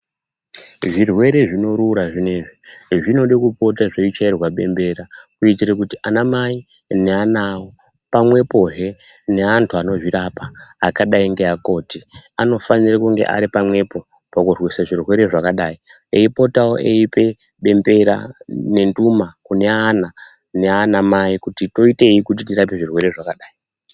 Zvirwere zvinorura zvinezvi, zvinode kupota zveichairwa bembera kuitira kuti anamai neana awo pamwepohe neantu anozvirapa akadai ngeakoti anofanire kunge ari pamwepo, pakurwise zvirwere zvakadai eipotawo eipe bembera nenhuma kune ana nana mai kuti toitei kuti tirape zvirwere zvakadai.